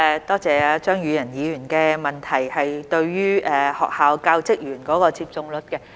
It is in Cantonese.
多謝張宇人議員有關學校教職員接種率的補充質詢。